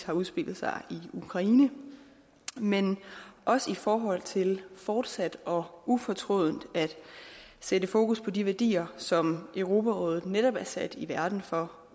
har udspillet sig i ukraine men også i forhold til fortsat og ufortrødent at sætte fokus på de værdier som europarådet netop er sat i verden for